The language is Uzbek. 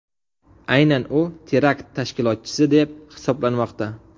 Aynan u terakt tashkilotchisi deb hisoblanmoqda.